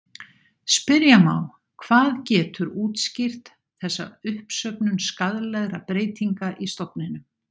Spyrja má hvað getur útskýrt þessa uppsöfnun skaðlegra breytinga í stofninum.